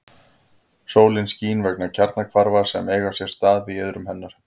Sólin skín vegna kjarnahvarfa sem eiga sér stað í iðrum hennar.